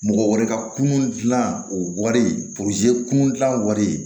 Mɔgɔ wɛrɛ ka kunun gilan o wari kun gilan wari